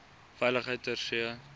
veiligheid ter see